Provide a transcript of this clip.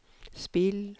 spill